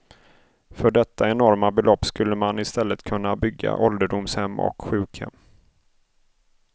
För detta enorma belopp skulle man i stället kunna bygga ålderdomshem och sjukhem.